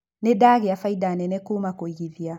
Nĩ ndagĩa bainda nene kuuma kũigithia.